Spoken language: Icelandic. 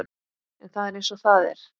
En það er eins og það er.